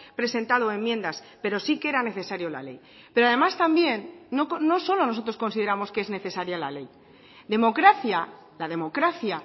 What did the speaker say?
presentado enmiendas pero sí que era necesario la ley pero además también no solo nosotros consideramos que es necesaria la ley democracia la democracia